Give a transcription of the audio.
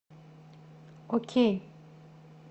окей